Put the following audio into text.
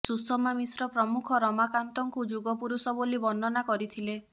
ସୁଷମା ମିଶ୍ର ପ୍ରମୁଖ ରମାକାନ୍ତଙ୍କୁ ଯୁଗପୁରୁଷ ବୋଲି ବର୍ଣ୍ଣନା କରିଥିଲେ